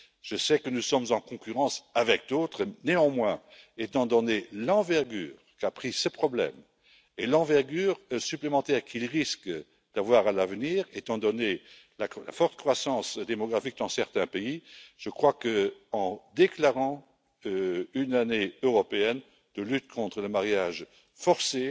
Je sais que nous sommes en concurrence avec d'autres, néanmoins, étant donné l'envergure qu'a pris ce problème et l'envergure supplémentaire qu'il risque d'avoir à l'avenir, étant donné la forte croissance démographique dans certains pays, je crois que déclarer une année européenne de lutte contre les mariages forcés